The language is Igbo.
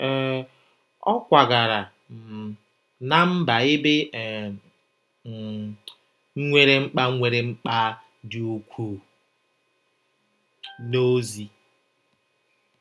um Ọ kwagara um ná mba ebe e um nwere mkpa nwere mkpa dị ukwuu n’ozi.